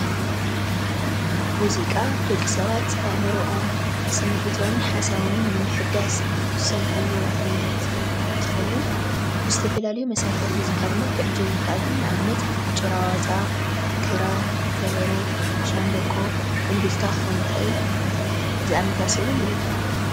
ሙዚቃ ደቂ ሰባት ኣእምሮኦም ስምዒቶምን ሓሳቦምን ንምሕዳስ ዝስምዕዎ ዓይነት እንትከውን ብዝተፈላለዩ መሳርሕታት ሙዚቃ ክዕጀብ ይክእል እዩ። ጭራዋጣ፣ ክራር፣ ከበሮ፣ ሻንበቆ፣ እንብልታ ክከውን ይክእል ዝኣመሰሰሉን እዩ።